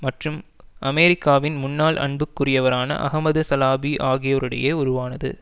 மற்றும் அமெரிக்காவின் முன்னாள் அன்புக்குரியவரான அஹமது சலாபி ஆகியோரிடையே உருவானது